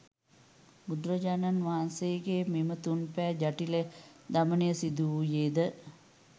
බුදුරජාණන් වහන්සේගේ මෙම තුන් බෑ ජටිල දමනය සිදුවූයේද